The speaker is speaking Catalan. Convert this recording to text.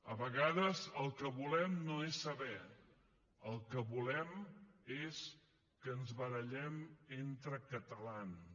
a vegades el que volem no és saber el que volem és que ens barallem entre catalans